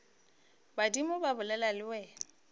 badimo ba bolela le wena